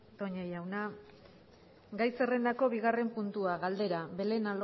toña jauna gai zerrendako bigarren puntua galdera belén